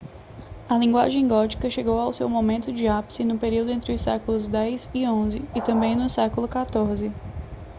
a linguagem gótica chegou ao seu momento de ápice no período entre os séculos 10 e 11 e também no século 14